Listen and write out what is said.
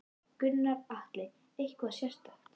Gunnar Atli: Eitthvað sérstakt?